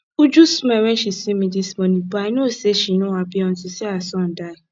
uju smile wen she see me dis morning but i no say she no happy unto say her son die